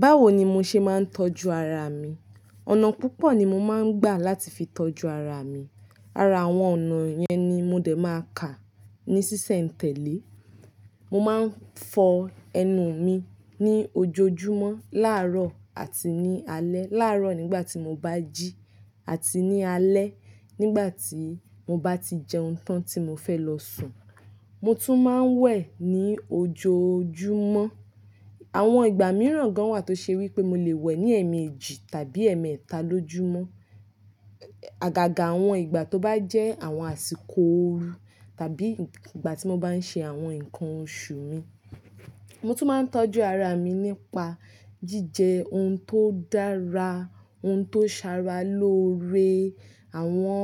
Báwo ni mo ṣe máa ń tọ́jú ara mi. Ọ̀nà púpọ̀ ni mo máa ń gbà láti fi tọ́jú ara mi. Ara àwọn ònà yẹn ni mo dè máa kà ní ṣíṣẹ̀ ntẹ̀lé. Mo máa ń fọ ẹnu mi ní ojoojúmọ́ láàárọ̀ àti ní alẹ́. Láàárọ̀ nígbà tí mo bá jí àti ní alẹ́ nígbà tí mo bá ti jẹun tán tí mo fẹ́ lọ sùn. Mo tún máa ń wẹ̀ ní ojoojúmọ́. Àwọn ìgbà mìíràn gan wà tó ṣe wí pé mo lè wẹ̀ ní ẹ̀ẹ̀mejì tàbí ẹ̀mẹ́ta lójúmọ́. Agaga àwọn ìgbà tó bá jẹ́ àwọn àsìkò ooru tàbí ìgbà tí mo bá ń ṣe àwọn nǹkan oṣù mi. Mo tún máa ń tọ́jú ara mi nípa jíjẹ oun tó dára, oun tó sara lóore, àwọn,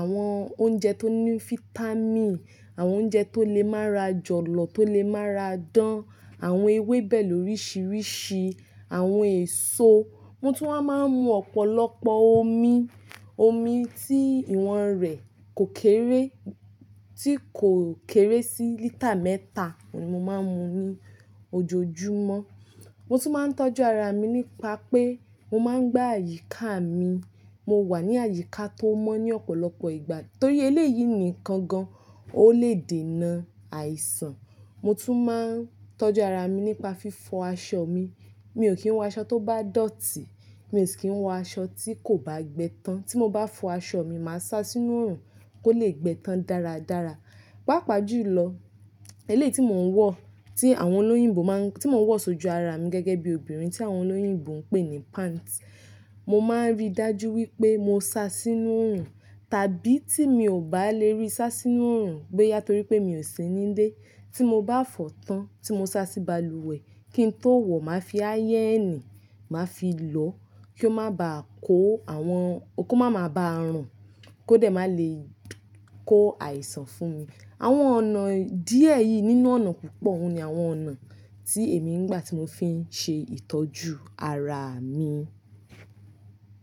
àwọn oúnjẹ tó ní fítámìnì, àwọn oúnjẹ tó lè mára jọ̀lọ̀, tó lè mára dán, àwọn ewébẹ̀ lórísìírísìí, àwọn èso. Mo tún máa ń mu ọ̀pọ̀lọpọ̀ omi. Omi tí ìwọ̀n rẹ̀ kò kéré, tí kò kéré sí lítà mẹ́ta ni mo máa ń mu ní ojoojúmọ́. Mo tún máa ń tọ́jú ara mi nípa pé mo máa ń gba àyíká mi. Mo wà ní àyíká tó mọ́ ní ọ̀pọ̀lọpọ̀ ìgbà torí eléyìí nìkan gan o lè dènà àìsàn. Mo tún máa ń tọ́jú ara mi nípa fífọ aṣọ mi. Mi ò kí ń wọ aṣọ tó bá dọ̀tí, mi ò kí ń wọ aṣọ tí kò bá gbẹ tán. Tí mo bá fọ aṣọ mi, màá sá sínú òrùn kó lè gbẹ tán dáradára. Pápá jù lọ, eléyìí tí mò ń wọ̀, tí àwọn olóyìnbó máa ń-- tí mò ń wọ̀ sójú ara mi gẹ́gẹ́ bí obìnrin tí àwọn olóyìnbó ń pè ní pants, mo máa ń rí dájú wí pé mo sá sínú òrùn tàbí tí mi ò bá lè rí sá sínú òrùn gbé yátọ̀ wí pé mi ò sí ní ilé. Tí mo bá fọ̀ tán tí mo sá sí balùwẹ̀ kí n tó wọ̀, màá fi ayéènì, màá fi lọ kí ó má bàá kó àwọn-- kó máa máa ba rùn kó dè má lè kó àìsàn fún mi. Àwọn ọ̀nà díẹ̀ yìí nínú ọ̀nà púpọ̀ ni àwọn ọ̀nà tí èmi ń gbà tí mo fi ń ṣe ìtọ́jú ara mi.